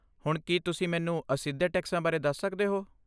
ਹੁਣ ਕੀ ਤੁਸੀਂ ਮੈਨੂੰ ਅਸਿੱਧੇ ਟੈਕਸਾਂ ਬਾਰੇ ਦੱਸ ਸਕਦੇ ਹੋ?